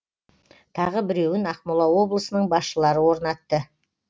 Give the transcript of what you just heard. тағы біреуін ақмола облысының басшылары орнатты